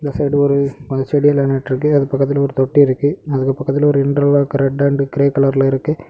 Side ஒரு செடியெல்லாம் நெட்ருக்கு அது பக்கத்துல ஒரு தொட்டி இருக்கு அது பக்கத்துல ஒரு இன்டர்லாக் ரெட் அன்ட் கிரே கலர்ல இருக்கு.